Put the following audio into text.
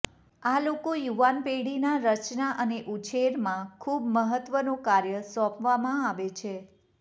આ લોકો યુવાન પેઢીના રચના અને ઉછેરમાં ખૂબ મહત્વનો કાર્ય સોંપવામાં આવે છે